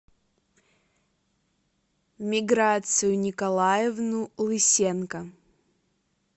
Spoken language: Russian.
миграцию николаевну лысенко